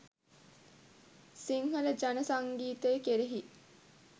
සිංහල ජන සංගීතය කෙරෙහි